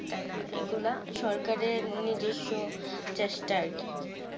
তাইনা এইগুলো সরকারে নিজস্ব চেষ্টা আর কি